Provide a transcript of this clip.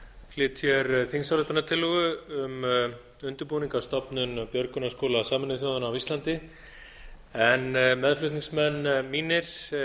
flyt hér þingsályktunartillögu um undirbúning að stofnun björgunarskóla sameinuðu þjóðanna á íslandi meðflutningsmenn mínir